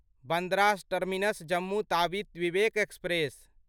Bandra terminus Jammu Tawi Vivek express